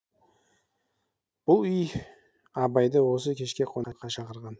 бұл үй абайды осы кешке қонаққа шақырған